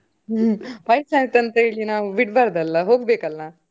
ವಯ್ಸ್ ಆಯ್ತ್ ಅಂತ ಹೀಗೆ ನಾವು ಬಿಡ್ಬರ್ದಲ್ಲ ನಾವು ಹೋಗ್ಬೇಕಲ್ಲ.